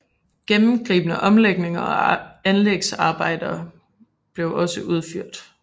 Gennemgribende omlægninger og anlægsarbejder blev også udført